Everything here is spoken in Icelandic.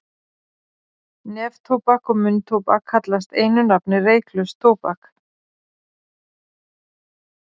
Neftóbak og munntóbak kallast einu nafni reyklaust tóbak.